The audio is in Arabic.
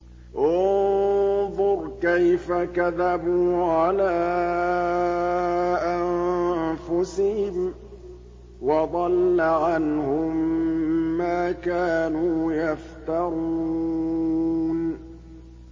انظُرْ كَيْفَ كَذَبُوا عَلَىٰ أَنفُسِهِمْ ۚ وَضَلَّ عَنْهُم مَّا كَانُوا يَفْتَرُونَ